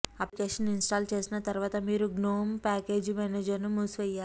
application install చేసిన తర్వాత మీరు గ్నోమ్ ప్యాకేజీ మేనేజర్ను మూసివేయాలి